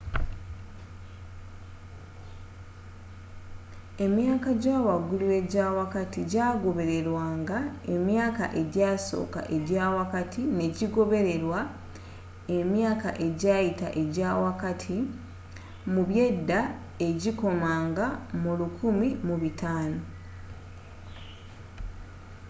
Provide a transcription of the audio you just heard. emyaka jawagulu ejawakati jagobererwanga emyaka ejasooka ejawakati nejigobererwa emyaka ejayita ejawakati mu byeda ejikoma nga mu 1500